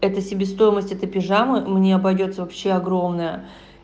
это себестоимость этой пижамы мне обойдётся вообще огромная